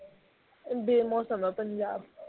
ਬੇ-ਮੌਸਮ ਹੈ ਪੰਜਾਬ